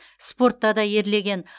спортта да ерлеген